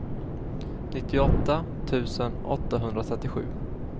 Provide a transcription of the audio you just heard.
nittioåtta tusen åttahundratrettiosju